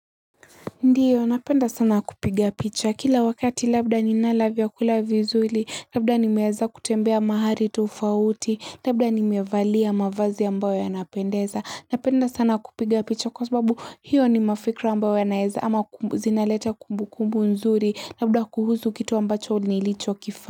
Ndiyo napenda sana kupiga picha kila wakati labda ninala vyakula vizuli labda nimeweza kutembea mahali tofauti labda nimevalia mavazi ambayo yanapendeza napenda sana kupiga picha kwa sababu hiyo ni mafikra ambayo yanaeza ama zinaleta kumbu kumbu nzuri labda kuhuzu kitu ambacho nilicho kifa.